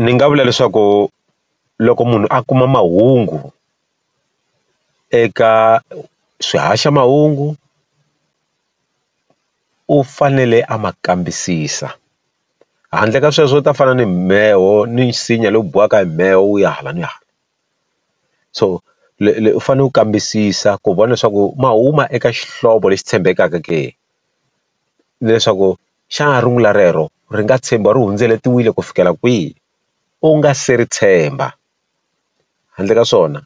Ndzi nga vula leswaku loko munhu a kuma mahungu, eka swihaxamahungu u fanele a ma kambisisa. Handle ka sweswo u ta fana ni mheho ni nsinya lowu biwaka hi mheho wu ya hala ni hala. So u fanele ku kambisisa ku vona leswaku ma huma eka xihlovo lexi tshembekaka ke. Na leswaku xana rungula rero ri nga ri hundzeletiwile ku fikela kwihi, u nga se ri tshemba. Handle ka swona